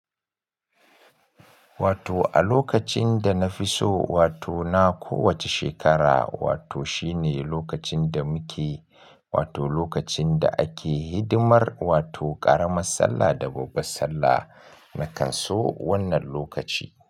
Wato a lokacin da nafiso, wato na kowace shekara, wato shine lokacin da muke, wato lokacin da ake hidimar, wato ƙaramar sallah da babban sallah. Na kan so wannan lokaci.